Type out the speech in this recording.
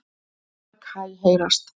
Mörg hæ heyrast.